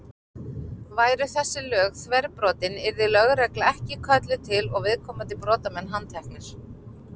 Væru þessi lög þverbrotin yrði lögregla ekki kölluð til og viðkomandi brotamenn handteknir.